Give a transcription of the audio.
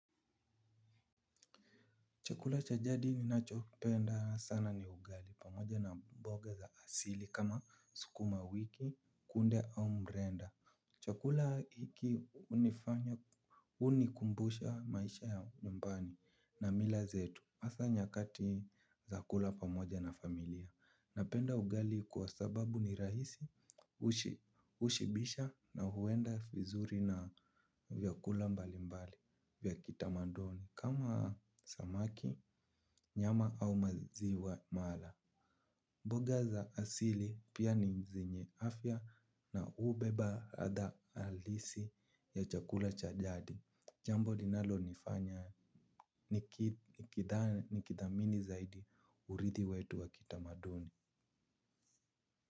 Chukula cha jadi ninachopenda sana ni ugali pamoja na mboga za asili kama sukumawiki kunde au mrenda. Chukula hiki hunifanya unikumbusha maisha ya nyumbani na mila zetu asa nyakati za kula pamoja na familia. Napenda ugali kwa sababu ni rahisi ushibisha na huenda vizuri na vyakula mbali mbali vya kitamaduni. Kama samaki, nyama au maziwa mala. Boga za asili pia ni zenye afya na ubeba hadha alisi ya chakula cha jadi. Jambo linalonifanya nikidha nikidhamini zaidi urithi wetu wa kitamaduni.